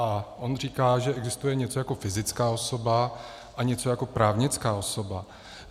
A on říká, že existuje něco jako fyzická osoba a něco, jako právnická osoba.